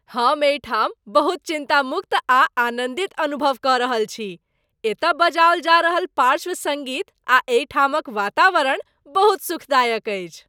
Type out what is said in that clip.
हम एहिठाम बहुत चिंतामुक्त आ आनंदित अनुभव क रहल छी , एतय बजाओल जा रहल पार्श्व सङ्गीत आ एहिठामक वातावरण बहुत सुखदायक अछि!